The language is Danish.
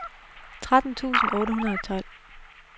tretten tusind otte hundrede og tolv